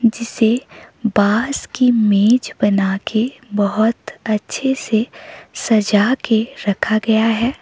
जिसे बांस की मेज बना के बहोत अच्छे से सजा के रखा गया है।